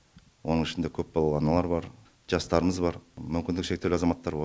оның ішінде көпбалалы аналар бар жастарымыз бар мүмкіндігі шектеулі азаматтар бар